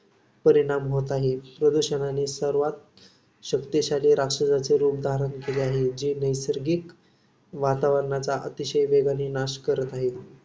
परिणाम होत आहे. प्रदूषणाने सर्वांत शक्तिशाली राक्षसाचे रूप धारण केले आहे. जे नैसर्गिक वातावरणाचा अतिशय वेगाने नाश करत आहे.